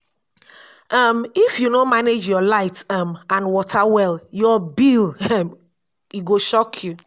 um if you no manage yur light um and water well, yur bill um e go shock you